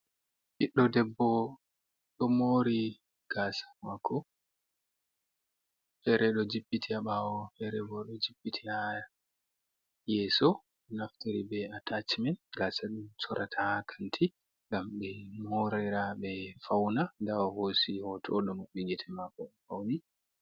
Ɓiɗdo ɗeɓbo ɗo mori gasa mako, fere do jippiti ha bawo ferebo ɗo jippiti ha yeso naftari be atachimen gasa ɗum sorata ha kanti ngam ɓe morira ɓe fauna, ɗa o hôosi hoto oɗô màbbi gïte mako fauni.